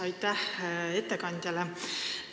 Aitäh ettekandjale!